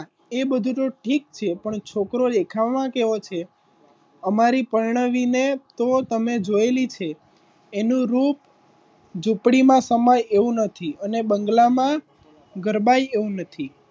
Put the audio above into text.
એ બધું તો ઠીક છે પણ છોકરો દેખાવમાં કેવો છે? અમારે પ્રવાની ને તો તમે જોઈ લેજો એનો એનું રૂપ ઝૂંપડીમાં સમાય એવું નહીં અને બંગલા માં ગરમાય એવું નહીં.